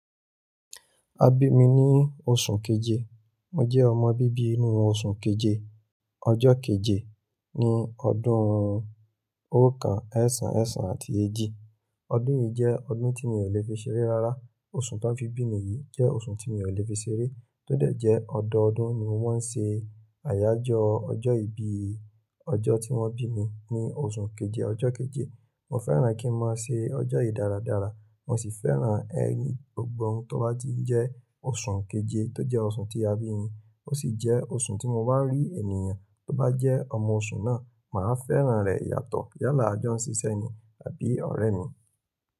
A bí mi ní oṣù keje, mo jẹ́ ọmọ bíbí inú oṣù keje, ọjọ́ keje, ní ọdún oókan ẹ̀sán, ẹ̀sán àti èjì. Ọdún yìí jẹ́ ọdún tí mi ò lè fi ṣeré rárá. Oṣù tań fi bí mi yìí jẹ́ oṣù tí mi ò lè fi ṣeré. Tó dẹ̀ jẹ́ ọdọọdún ni mo maa ń ṣe àyájọ́ ọjọ́ ìbí, ọjọ́ tí wọ́n bí mi ní oṣù keje, ọjọ́ keje. Mo fẹ́ràn kí n máa ṣe ọjọ́ yìí dáradára, mo sì fẹ́ràn ẹni gbogbo tó bá ti jẹ́ oṣù keje tó jẹ́ oṣù tí a bí mi. Ó sì jẹ́ oṣù tí mo bá rí ènìyàn tó bá jẹ́ ọmọ oṣù náà, màá fẹ́ràn rẹ̀ yàtọ̀ yálà àjọ́ n sisẹ́ ni àbí ọ̀rẹ́ mi.